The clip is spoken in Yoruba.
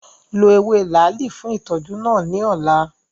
Lo ewe laali fun itọju naa ni ọla!